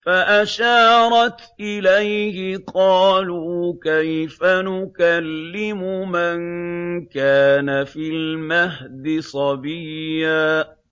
فَأَشَارَتْ إِلَيْهِ ۖ قَالُوا كَيْفَ نُكَلِّمُ مَن كَانَ فِي الْمَهْدِ صَبِيًّا